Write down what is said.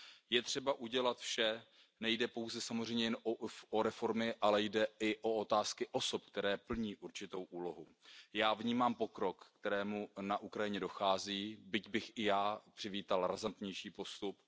Je třeba udělat vše, nejde pouze samozřejmě jen o reformy, ale jde i o otázky osob, které plní určitou úlohu. Já vnímám pokrok, ke kterému na Ukrajině dochází, byť bych i já přivítal razantnější postup.